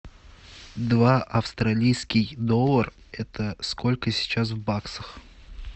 два австралийский доллар это сколько сейчас в баксах